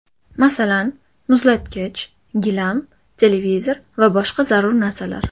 Masalan, muzlatkich, gilam, televizor va boshqa zarur narsalar.